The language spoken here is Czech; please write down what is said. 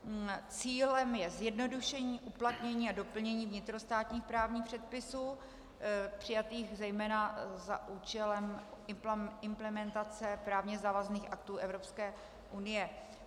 Cílem je zjednodušení, uplatnění a doplnění vnitrostátních právních předpisů přijatých zejména za účelem implementace právně závazných aktů Evropské unie.